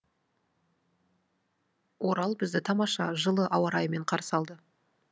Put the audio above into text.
орал бізді тамаша жылы ауа райымен қарсы алды